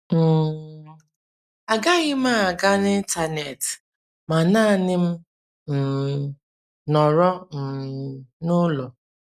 um □ Agaghị m aga n’Intanet ma naanị m um nọrọ um n’ụlọ.